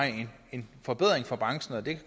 en forbedring for branchen og det